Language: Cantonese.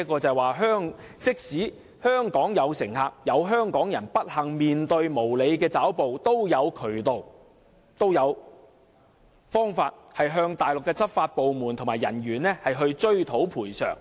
"這即是說，即使有香港人不幸面對無理抓捕，也有渠道向內地執法部門和人員追討賠償。